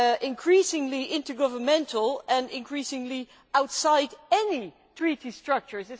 increasingly intergovernmental and increasingly outside any Treaty structures.